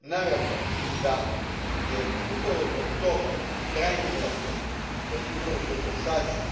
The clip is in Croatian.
Naravno da je upravo zbog toga krajnje neophodno da su upravo potrošači